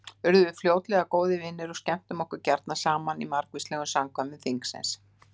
Urðum við fljótlega góðir vinir og skemmtum okkur gjarna saman í margvíslegum samkvæmum þingsins.